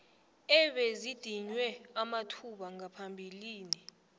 ebezidinywe amathuba ngaphambilini